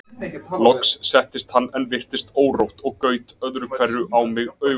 Loks settist hann en virtist órótt og gaut öðru hvoru á mig augunum.